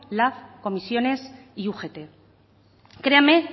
lab comisiones y ugt créame